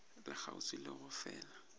le kgauswi le go fela